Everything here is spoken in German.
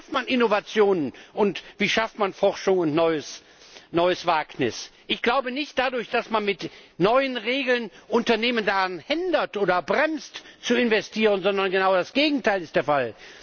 Wie schafft man Innovationen, und wie schafft man Forschung und neues Wagnis? Nicht dadurch, dass man mit neuen Regeln Unternehmen daran hindert oder sie bremst, zu investieren, sondern genau das Gegenteil ist der Fall.